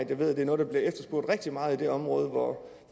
ved at det er noget der bliver efterspurgt rigtig meget i det område hvor